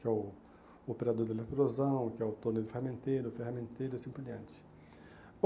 Que é o operador de eletrosão, que é o torneio de ferramenteiro, ferramenteiro e assim por diante.